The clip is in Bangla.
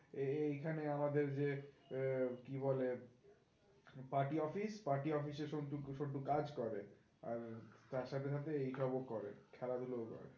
এই খানে আমাদের যে আহ কি বলে পার্টি অফিস পার্টি অফিসে সন্টু সন্টু কাজ করে, আর তার সাথে সাথে এই সব ও করে খেলাধুলো ও করে